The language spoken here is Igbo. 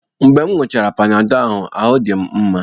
Mgbe m ṅụọchara Panadọ ahụ, ahụ́ adị m mma